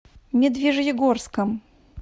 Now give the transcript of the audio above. медвежьегорском